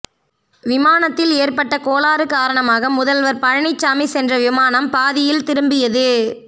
விமானத்தில் ஏற்பட்ட கோளாறு காரணமாக முதல்வர் பழனிச்சாமி சென்ற விமானம் பாதியில் திரும்பியது